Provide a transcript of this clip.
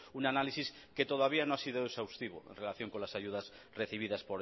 un análisis que todavía no ha sido exhaustivo en relación con las ayudas recibidas